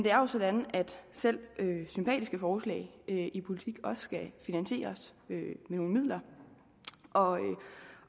er jo sådan at selv sympatiske forslag i i politik også skal finansieres med nogle midler og